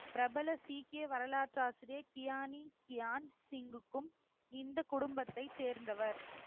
பிரபல சீக்கிய வரலாற்று ஆசிரியர் கியானி கியான் சிங்குக்கும் இந்த குடும்பத்த சேர்ந்தவர்